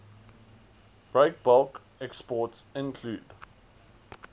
breakbulk exports include